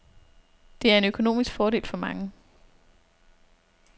Det er en økonomisk fordel for mange.